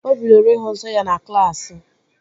O bidoro ịhụ nsọ ya na klaasị